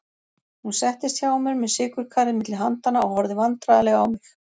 Hún settist hjá mér með sykurkarið milli handanna og horfði vandræðaleg á mig.